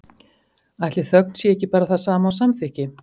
Ætli þögn sé ekki bara það sama og samþykki?